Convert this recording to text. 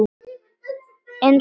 Eins og það er.